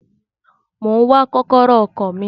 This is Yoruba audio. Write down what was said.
Mo ń wá kọ́kọ́rọ́ ọkọ̀ mi.